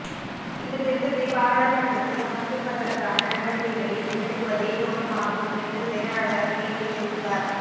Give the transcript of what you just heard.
இந்த திருத்தத்தை பாராளுமன்றத்தில் சமர்ப்பிப்பதற்கான நடவடிக்கைகளை முன்னெடுப்பதே நோக்கமாகும் என்று செயலாளர் மேலும் தெரிவித்தார்